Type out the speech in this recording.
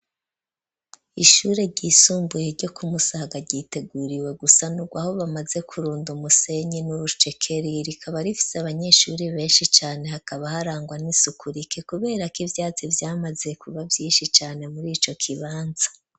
Ishure ryisumbuye ryo kumusaga giteguriwe gusanurwa aho bamaze kurunda umusenyi n'urucekeri rikaba rifite abanyeshuri benshi cane hakaba harangwa n'isukurike kubera ko ivyatsi vyamaze kuba vyinshi Cane muri ico kibanza.